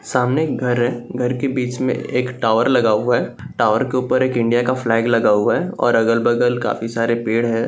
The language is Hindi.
सामने एक घर है घर के बीच में एक टॉवर लगा हुआ है टॉवर के ऊपर एक इंडिया का फ्लैग लगा हुआ है और अगल-बगल काफी सारे पेड़ है।